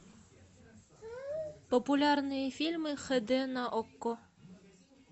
популярные фильмы хд на окко